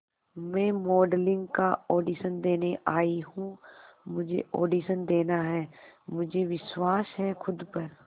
मैं मॉडलिंग का ऑडिशन देने आई हूं मुझे ऑडिशन देना है मुझे विश्वास है खुद पर